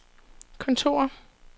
kontor